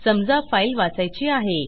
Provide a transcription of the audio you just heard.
समजा फाईल वाचायची आहे